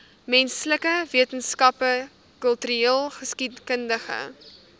menslike wetenskappe kultureelgeskiedkundige